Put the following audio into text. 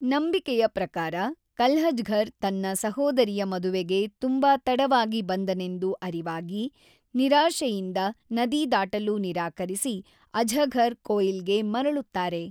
ನಂಬಿಕೆಯ ಪ್ರಕಾರ ಕಲ್ಲಜ್ಹಘರ್ ತನ್ನ ಸಹೋದರಿಯ ಮದುವೆಗೆ ತುಂಬ ತಡವಾಗಿ ಬಂದೆನೆಂದು ಅರಿವಾಗಿ ನಿರಾಶೆಯಿಂದ ನದಿ ದಾಟಲು ನಿರಾಕರಿಸಿ ಅಜ್ಹಘರ್ ಕೋಯಿಲ್ ಗೆ ಮರಳುತ್ತಾರೆ.